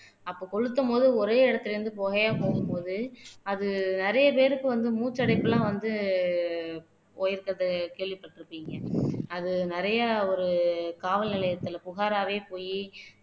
அப்ப கொளுத்தும் போது ஒரே இடத்துல இருந்து புகையா போகும்போது அது நிறைய பேருக்கு வந்து மூச்சடைப்பு எல்லாம் வந்து போயிருக்குது கேள்விப்பட்டிருப்பீங்க அது நிறைய ஒரு காவல் நிலையத்துல புகாராவே போயி